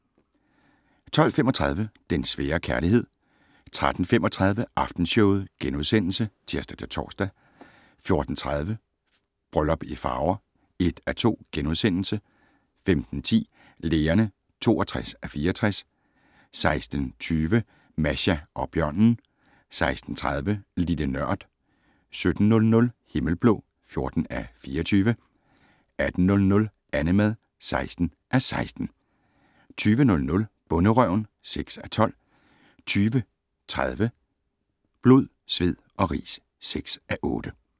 12:35: Den svære kærlighed 13:35: Aftenshowet *(tir-tor) 14:30: Bryllup i Farver (1:2)* 15:10: Lægerne (62:64) 16:20: Masha og bjørnen 16:30: Lille Nørd 17:00: Himmelblå (14:24) 18:00: Annemad (16:16) 20:00: Bonderøven (6:12) 20:30: Blod, sved og ris (6:8)